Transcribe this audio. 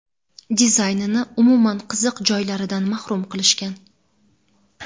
dizaynini umuman qiziq joylaridan mahrum qilishgan.